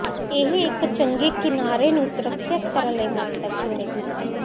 ਇਹ ਇੱਕ ਚੰਗਾ ਕਿਨਾਰੇ ਨੂੰ ਸੁਰੱਖਿਅਤ ਕਰਨ ਲਈ ਮਹੱਤਵਪੂਰਨ ਹੈ